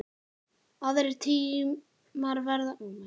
Aðrir tímar verða kynntir síðar.